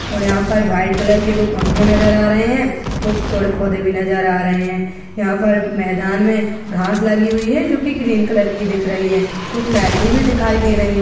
और यहाँ पर भाइट कलर के दो पंखे नज़र आ रहे हैं कुछ पेड़ पौधे भी नज़र आ रहे हैं यहाँ पर मैदान में घास लगी हुई है जो की ग्रीन कलर की दिख रही है कुछ लाइटे भी दिखाई दे रही --